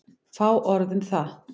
Fá orð um það.